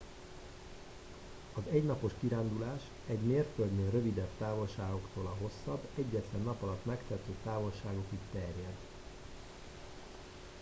az egynapos kirándulás egy mérföldnél rövidebb távolságoktól a hosszabb egyetlen nap alatt megtehető távolságokig terjed